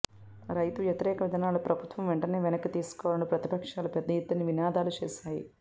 రైతు వ్యతిరేక విధానాలు ప్రభుత్వం వెంటనే వెనక్కి తీసుకోవాలని ప్రతిపక్షాలు పెద్ద ఎత్తున నినాదాలు చేస్తున్నాయి